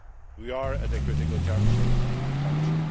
We are at a critical juncture with the country.